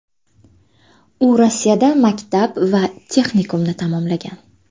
U Rossiyada maktab va texnikumni tamomlagan.